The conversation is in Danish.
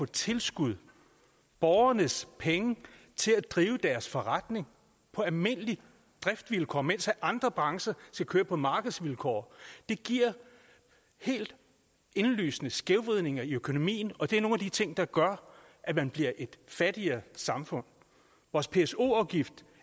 tilskud borgernes penge til at drive forretningen på almindelige driftsvilkår mens andre brancher skal køre på markedsvilkår giver helt indlysende skævvridninger i økonomien og det er nogle af de ting der gør at man bliver et fattigere samfund vores pso afgift